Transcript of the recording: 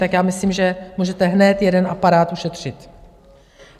Tak já myslím, že můžete hned jeden aparát ušetřit.